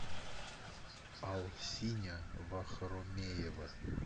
алсиня вахромеева